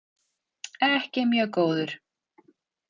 Ekki mjög góður.